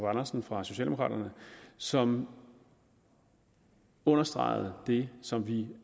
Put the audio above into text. andersen fra socialdemokraterne som understregede det som vi